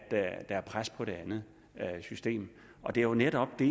er pres på det andet system det er jo netop det